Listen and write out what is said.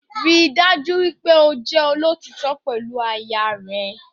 Ríi dájú wípé o jẹ́ olótítọ́ pẹ̀lú aya rẹ